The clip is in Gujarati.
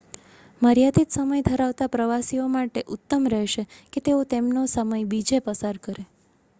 મર્યાદિત સમય ધરાવતા પ્રવાસીઓ માટે ઉત્તમ રહેશે કે તેઓ તેમનો સમય બીજે પસાર કરે